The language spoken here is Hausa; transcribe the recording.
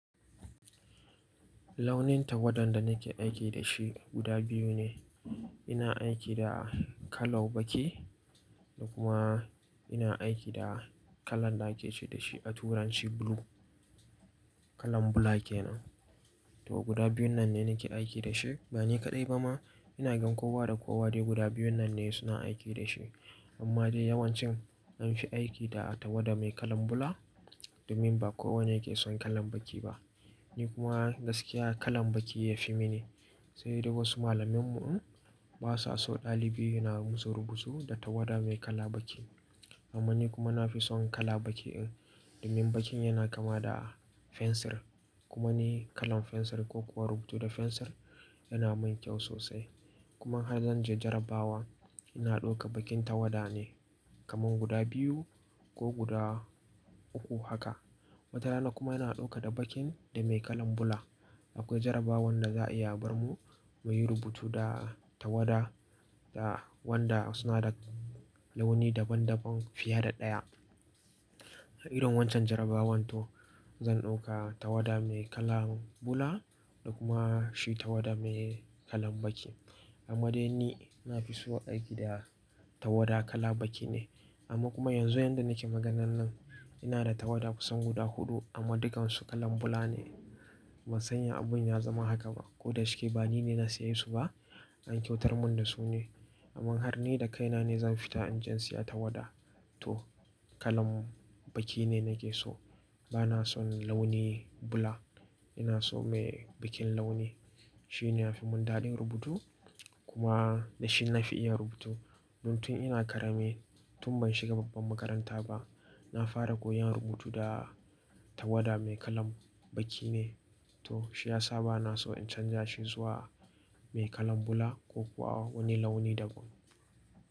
Launin tawada da nake aiki da shi guda biyu ne. Ina aiki da kalau baki da kuma ina aiki da kalan da ake ce da shi a turanci blue, kalan bula ke nan. To guda biyun nan ne nake aiki da shi. Ba ni kaɗai ba ma, ina gan kowa da kowa dai guda biyun nan ne suna aiki da shi. Amma dai yawancin an fi aiki da tawada mai kalan bula domin ba kowa ne yake son kalan baki ba. Ni kuma gaskiya kalan baki ya fi mini. Sai dai wasu malaminmu in basa so ɗalibi na musu rubutu da tawada mai kala baki. Domin ni kuma na fi son kala baki in domin bakin yana kama da fensir. Kuma ni kalan fensir ko kuwa rubutu da fensir yana min kyau sosai. Kuma har zan je jarabawa ina ɗauka bakin tawada ne kaman guda biyu ko guda uku haka. Wata rana kuma ina ɗauka da bakin da mai kalan bula. Akwai jarabawan da za a iya bar mu muyi rubutu da tawada da wanda suna da launi daban-daban fiye da ɗaya. Irin wancan jarabawan to zan ɗauka tawada mai kalan bula da kuma shi tawada mai kalan baki. Amma dai ni na fi so aiki da tawada kala baki ne. Amma kuma yanzu yanda nake maganan nan ina da tawada kusan guda huɗu amma dukansu kalan bula ne. Ban san ya abin ya zama haka ba. Ko da shike ba ni ne na saye su ba, an kyautar mun dasu ne. Amma har ni da kaina ne za mu fita inje siya tawada to kalan baki ne nake so. Bana son launi bula. Ina so mai bikin launi. Shi ne ya fi mun daɗin rubutu kuma da shi na fi iya rubutu. Don tun ina karami, tun ban shiga babban makaranta ba, na fara koyan rubutu da tawada mai kalan baki ne. To shi ya sa ba na so in canza shi zuwa mai kalan bula ko kuwa wani launi daban.